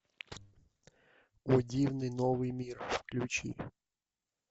о дивный новый мир включи